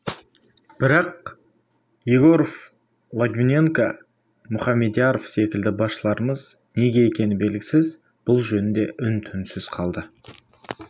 бірақ егоров логвиненко мұхамедияров секілді басшыларымыз неге екені белгісіз бұл жөнінде үн-түнсіз қалды